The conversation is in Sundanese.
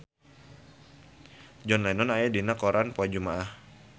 John Lennon aya dina koran poe Jumaah